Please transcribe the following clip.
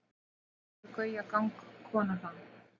hvernig hefur gauja gangkona það